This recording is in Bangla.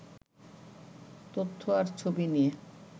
তথ্য আর ছবি নিয়ে